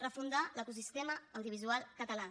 refundar l’ecosistema audiovisual català